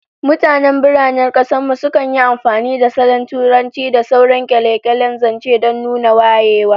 Mutanen biranen kasar mu sukan yi amfani da salon Turanci da sauran kyale-kyalen zance don nuna wayewa